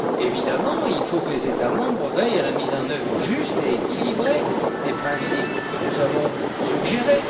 Évidemment, il faut que les États membres veillent à la mise en œuvre juste et équilibrée des principes que nous avons suggérés.